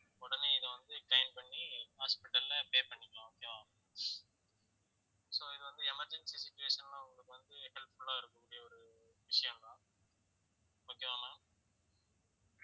உடனே இதை வந்து claim பண்ணி hospital ல pay பண்ணிக்கலாம் okay வா so இது வந்து emergency situation ல உங்களுக்கு வந்து helpful ஆ இருக்கக்கூடிய ஒரு விஷயம்தான் okay வா ma'am